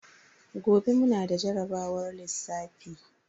Gobe mu na da jarabawar lissafi.